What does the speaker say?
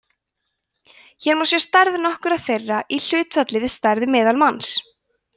hér má sjá stærð nokkurra þeirra í hlutfalli við stærð meðalmanns